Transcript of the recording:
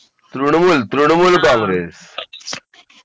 तृणमूल प्रणमूल काँग्रेस